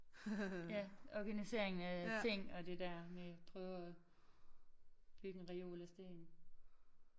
Ja okay nu ser jeg en ting og det der med prøve og bygge en reol af sten